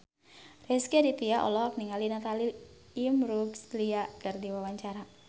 Rezky Aditya olohok ningali Natalie Imbruglia keur diwawancara